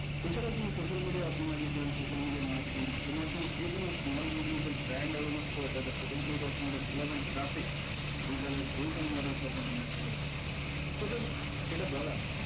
এছাড়াও তুমি social media optimization social media marketing এগুলোতে যেকোনো small business এর brand organize করে তারপর potential customer দের relevant traffic তুমি চাইলে যেকোনো online shop এ নিয়া আসতে পারবা। so friends যেটা বলা